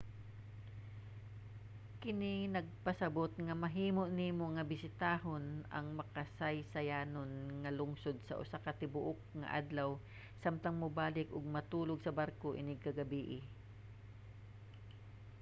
kini nagpasabot nga mahimo nimo nga bisitahon ang makasaysayanon nga lungsod sa usa ka tibuok nga adlaw samtang mubalik ug matulog sa barko inig ka gabii